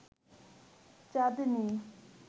চাঁদনী